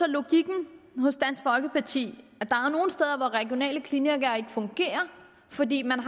logikken hos dansk folkeparti at hvor regionale klinikker ikke fungerer fordi man